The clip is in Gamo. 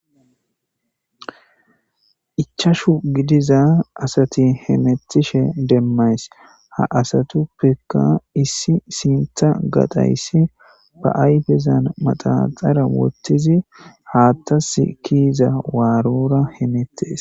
Ichashu gidiza asati hemettishe demmays ha asatuppekka issi sinta gatayssi ba ayfezan maxaxara wottizi haattas kiiza waarora hemettes